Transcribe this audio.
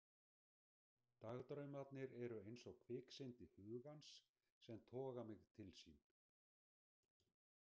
Dagdraumarnir eru eins og kviksyndi hugans sem toga mig til sín.